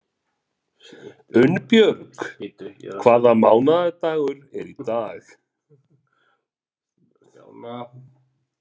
Unnbjörg, hvaða mánaðardagur er í dag?